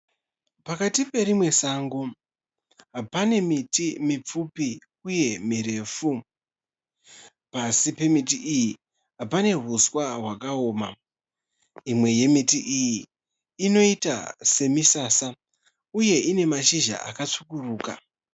Pakati perimwe sango. pane miti mipfupi uye mirefu. Pasi pemiti iyi pane uswa hwakaoma. Imwe yemiti iyi inoita semisasa uye ine mashizha akatsvukuruka.